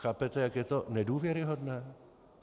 Chápete, jak je to nedůvěryhodné?